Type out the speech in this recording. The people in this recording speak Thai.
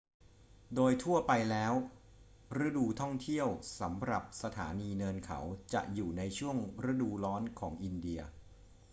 โดยทั่วไปแล้ว ฤดูท่องเที่ยวสำหรับสถานีเนินเขาจะอยู่ในช่วงฤดูร้อนของอินเดีย